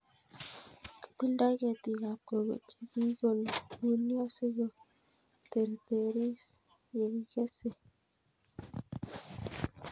Kitildoi ketik ab koko che kikolulio sikoteretis ye kikesei